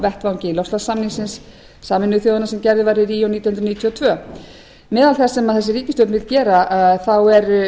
um á vettvangi loftslagssamnings sameinuðu þjóðanna sem gerður var í ríó nítján hundruð níutíu og tvö meðal þess sem þessi ríkisstjórn vill gera er